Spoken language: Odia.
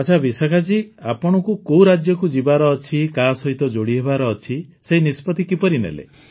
ଆଚ୍ଛା ବିଶାଖା ଜୀ ଆପଣଙ୍କୁ କୋଉ ରାଜ୍ୟକୁ ଯିବାର ଅଛି କାହା ସହିତ ଯୋଡ଼ିହେବାର ଅଛି ସେହି ନିଷ୍ପତ୍ତି କିପରି ନେଲେ